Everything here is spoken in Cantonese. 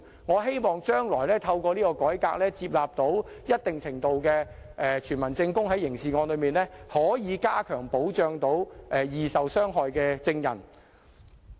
我希望將來透過這項改革，在處理刑事案時能在一定程度上接納傳聞證據，以加強保障易受傷害的證人。